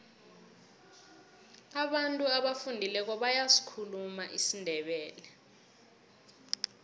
abantu abafundileko bayasikhuluma isindebele